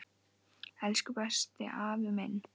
Elsku besti afi minn.